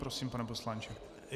Prosím, pane poslanče.